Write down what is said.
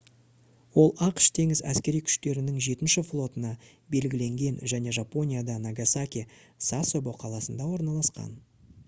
ол ақш теңіз әскери күштерінің жетінші флотына белгіленген және жапонияда нагасаки сасебо қаласында орналасқан